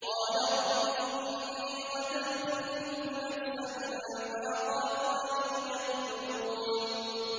قَالَ رَبِّ إِنِّي قَتَلْتُ مِنْهُمْ نَفْسًا فَأَخَافُ أَن يَقْتُلُونِ